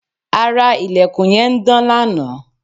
ara ilẹ̀kùn yẹn ń dán lanaa